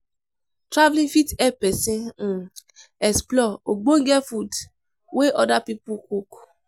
Traveling fit help persin um explore ogbonge food wey other pipo cook